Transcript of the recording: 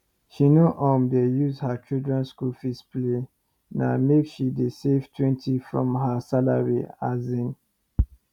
she nor um dey use her children school fees play na make she dey savetwentyfrom her salary um